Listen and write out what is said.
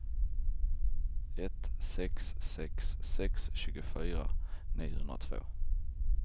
ett sex sex sex tjugofyra niohundratvå